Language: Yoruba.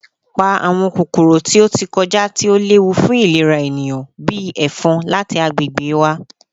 Pa awọn kokoro ti o ti kọja ti o lewu fun ilera eniyan, bii “efon,” lati agbegbe wa!